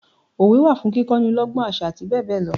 Òwe wa fún kíkọ ni lọ́gbọ́n, àṣà àti bẹ́ẹ̀ bẹẹ lọ.